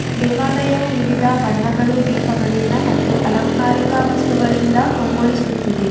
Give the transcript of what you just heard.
ದೇವಾಲಯ ವಿವಿಧ ಬಣ್ಣಗಳು ದೀಪಗಳು ಮತ್ತು ಅಲಂಕಾರಿಕ ವಸ್ತುಗಳಿಂದ ಕಂಗೊಳಿಸುತ್ತಿದೆ.